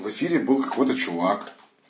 в эфире был какой-то чувак